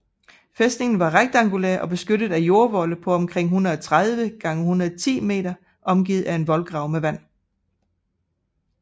Fæstningen var rektangulær og beskyttet af jordvolde på omkring 130 x 110 m og omgivet af en voldgrav med vand